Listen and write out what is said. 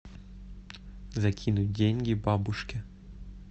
закинуть деньги бабушке